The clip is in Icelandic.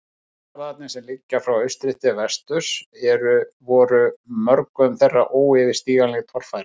Fjallgarðarnir, sem liggja frá austri til vesturs, voru mörgum þeirra óyfirstíganleg torfæra.